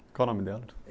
Qual o nome dela?